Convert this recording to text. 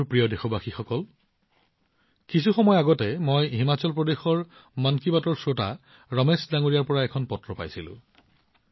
মোৰ মৰমৰ দেশবাসীসকল কিছু সময় পূৰ্বে মই হিমাচল প্ৰদেশৰ মন কী বাতৰ শ্ৰোতা ৰমেশজীৰ পৰা এখন পত্ৰ পাইছিলো